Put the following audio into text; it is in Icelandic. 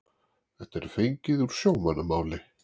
þetta er fengið úr sjómannamáli